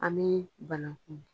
An bɛ banaku.